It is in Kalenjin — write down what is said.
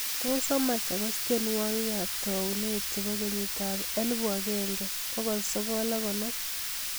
Tos amach agaas tyenwogik kab taunet chebo kenyitab elbu agenge bokol sogol ako konom